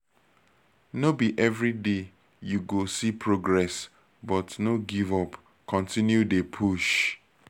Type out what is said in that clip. no be everyday you go see progress but no give up continue dey push